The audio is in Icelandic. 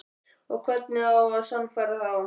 Og hvernig á að sannfæra þá?